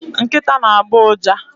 Nkịta na-agbọ ụja.